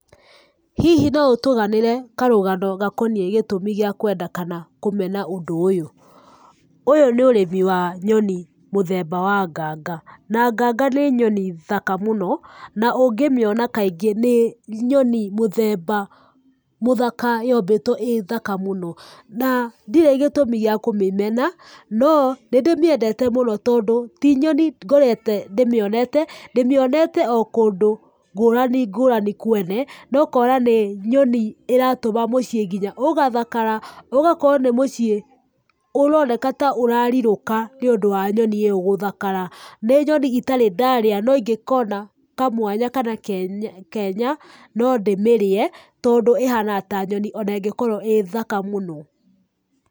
Hihi no ũtũganĩre karũgano gakoniĩ gĩtũmi gĩa kwenda kana kũmena ũndũ ũyũ? Ũyũ ni ũrĩmi wa nyoni mũthemba wa nganga, na nganga nĩ nyoni thaka mũno, na ũngĩ mĩona kaingĩ nĩ nyoni mũthemba mũthaka, yombĩtwo ĩ thaka mũno. Na, ndiri gĩtũmi gĩa kũmĩmena, no nĩ ndĩmĩendete mũno tondũ ti nyoni ngorete ndĩmĩonete. Ndĩmĩonete o kũndũ ngũrani ngũrani kwene na ũkona nĩ nyoni ĩratũma mũciĩ nginya ũgathakara, ũgakorwo nĩ mũciĩ ũroneka ta ũrarirũka nĩũndu wa nyoni ĩyo gũthakara. Nĩ nyoni itarĩ ndarĩa no ingekona kamwanya kana kenya no ndĩmĩrĩe tondũ ĩhana ta nyoni ona ĩngĩkorwo ĩ thaka mũno.